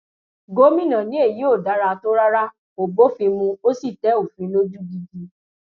gomina ni èyí ò dára tó rárá kó bófin mu ó sì tẹ òfin lójú gidi